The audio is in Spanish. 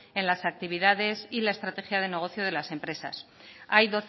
en las actividades y la estrategia de negocio en las empresas hay